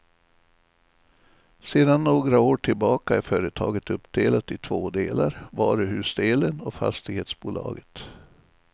Sedan några år tillbaka är företaget uppdelat i två delar, varuhusdelen och fastighetsbolaget.